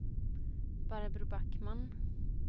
Barbro Backman